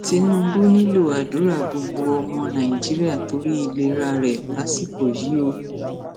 tinubu nílò àdúrà gbogbo ọmọ nàìjíríà torí ìlera rẹ lásìkò yìí o